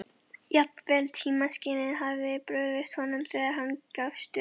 Jafnvel tímaskynið hafði brugðist honum þegar hann gafst upp.